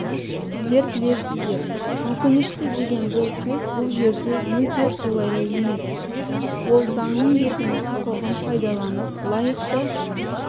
сіздер білесіздер өкінішті деген сөз бұл жерде мүлде қолайлы емес ол заңның берген құқығын пайдаланып лайықты